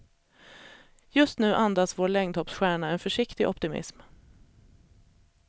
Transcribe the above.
Just nu andas vår längdhoppsstjärna en försiktig optimism.